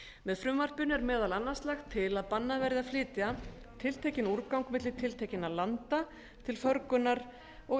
með frumvarpinu er meðal annars lagt til að bannað verði að flytja tiltekinn úrgang milli tiltekinna landa til förgunar og